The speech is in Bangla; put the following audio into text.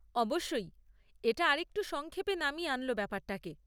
অবশ্যই, এটা আরেকটু সংক্ষেপে নামিয়ে আনল ব্যাপারটাকে।